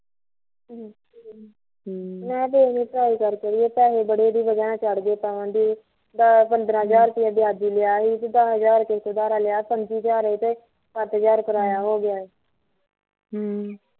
ਹਮ ਮੈਂ ਵੀ ਦੇਖਦੀ ਆ try ਕਰਕੇ ਵੇਖਦੀ ਅੜੀਏ ਪੈਸੇ ਬਹੁਤ ਚੜ ਗਏ ਆ ਦੱਸ ਪੰਦਰਾਂ ਹਜ਼ਾਰ ਰੁੱਪਈਆ ਵਿਆਜੀ ਲਿਆ ਸੀ ਤੇ ਦੱਸ ਹਜ਼ਾਰ ਗਹਾ ਕਿਸੇ ਤੋਂ ਅਧਾਰਾ ਲਿਆ ਤੇ ਏਹ ਪੰਜੀ ਹਜ਼ਾਰ ਏਹ ਤੇ ਸੱਤ ਹਜ਼ਾਰ ਕ੍ਰਿਆਇਆ ਹੋਗਿਆ ਐ ਹਮ